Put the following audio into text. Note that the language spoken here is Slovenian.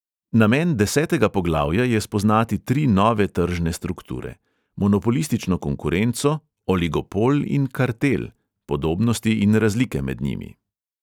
Namen desetega poglavja je spoznati tri nove tržne strukture: monopolistično konkurenco, oligopol in kartel, podobnosti in razlike med njimi.